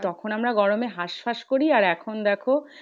তখন আমরা গরমে হাসফাস করি আর এখন দেখো?